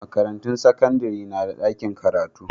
Makarantun sakandare na da ɗakin karatu.